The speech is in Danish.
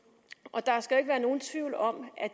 og der skal ikke være nogen tvivl om at